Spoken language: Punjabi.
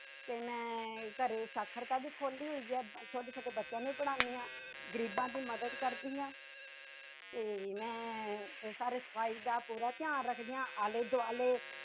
ਤੇ ਮੈਂ ਘਰੇ ਸਾਖਰਤਾ ਵੀ ਖੋਲੀ ਹੋਈ ਹੈ ਛੋਟੇ ਛੋਟੇ ਬੱਚਿਆਂ ਨੂੰ ਵੀ ਪੜ੍ਹਾਉਂਦੀ ਹਾਂ ਗ਼ਰੀਬਾਂ ਦੀ ਮਦਦ ਕਰਦੀ ਹਾਂ ਤੇ ਮੈਂ ਸਾਰੇ ਸਫ਼ਾਈ ਦਾ ਪੂਰਾ ਧਿਆਨ ਰੱਖਦੀ ਹਾਂ ਆਲੇ ਦੁਆਲੇ